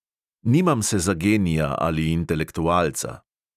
Nimam se za genija ali intelektualca.